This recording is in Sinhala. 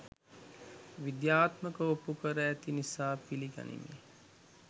විද්‍යාත්මකව ඔප්පු කර ඇති නිසා පිළිගනිමි